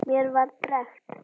Mér var drekkt.